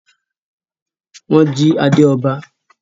nwọn jí ade ọba.